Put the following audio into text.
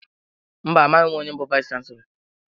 Mba, amaghị onye bụ vayis chansilọ.